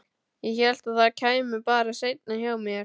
Ég hélt að það kæmi bara seinna hjá mér.